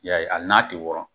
I y'a ye ali n'a tɛ wɔɔrɔ.